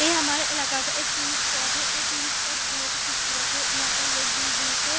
ये हमारे इलाके का एक टूरिस्ट स्पॉट है ये टूरिस्ट स्पॉट बोहोत ही खुबसूरत है यहाँ पर लोग दूर-दूर से --